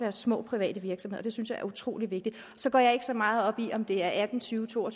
og små private virksomheder det synes jeg er utrolig vigtigt så går jeg ikke så meget op i om det er atten tyve to og